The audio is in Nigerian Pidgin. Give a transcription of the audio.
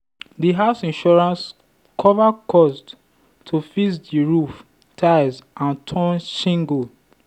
the house insurance cover cost to fix the roof tiles and torn shingle.